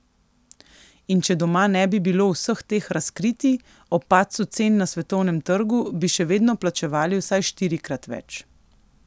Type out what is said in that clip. In če doma ne bi bilo vseh teh razkritij, ob padcu cen na svetovnem trgu, bi še vedno plačevali vsaj štirikrat več.